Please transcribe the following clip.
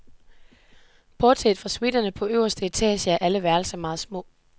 Bortset fra suiterne på øverste etage er alle værelser meget små.